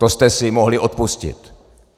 To jste si mohli odpustit.